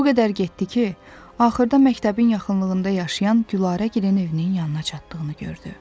O qədər getdi ki, axırda məktəbin yaxınlığında yaşayan Gülarəgilin evinin yanına çatdığını gördü.